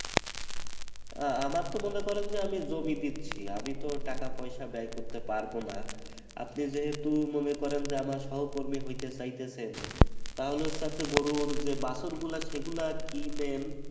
আহ আমার তো মনে করেন যে আমি জমি দিচ্ছি আমি তো টাকা পয়সা ব্যয় করতে পারবো না আপনি যেহেতু মনে করেন যে আমার সহকর্মী হইতে চাইতেছেন তাহলে হচ্ছে আপ্নে গরুর যে বাছুর গুলা আছে সেগুলা কিনেন